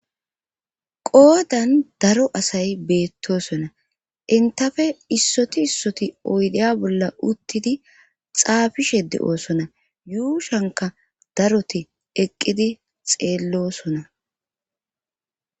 Qoodan daro beettoosona enttafe issoti issoti oydiya bolla uttidi xaafishe de7oosona yuushankka daroti eqqidi xeellosona.